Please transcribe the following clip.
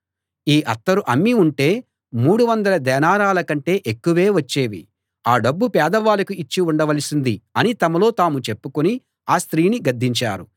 ఈ అత్తరు అమ్మి ఉంటే మూడువందల దేనారాల కంటే ఎక్కువే వచ్చేవి ఆ డబ్బు పేదవాళ్ళకు ఇచ్చి ఉండవలసింది అని తమలో తాము చెప్పుకుని ఆ స్త్రీని గద్దించారు